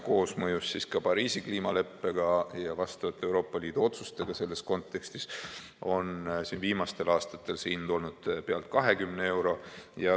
Koosmõjus ka Pariisi kliimaleppe ja vastavate Euroopa Liidu otsustega selles kontekstis on viimastel aastatel see hind olnud pealt 20 euro.